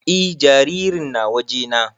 E jaririn na waje na